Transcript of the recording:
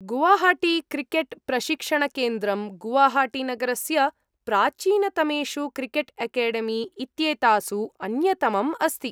गुवाहाटीक्रिकेट् प्रशिक्षणकेन्द्रं गुवाहाटीनगरस्य प्राचीनतमेषु क्रिकेट् एकेडेमी इत्येतासु अन्यतमम् अस्ति ।